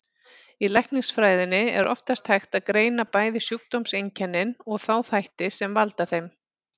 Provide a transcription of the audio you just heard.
Í læknisfræðinni er oftast hægt að greina bæði sjúkdómseinkennin og þá þætti sem valda þeim.